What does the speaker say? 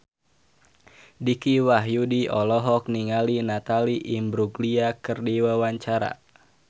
Dicky Wahyudi olohok ningali Natalie Imbruglia keur diwawancara